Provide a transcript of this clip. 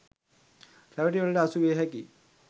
රැවටිලිවලට අසුවිය හැකියි.